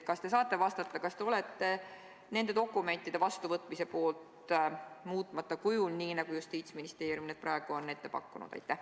Kas te saate vastata, kas te olete nende dokumentide vastuvõtmise poolt muutmata kujul, nii nagu Justiitsministeerium need praegu on ette pannud?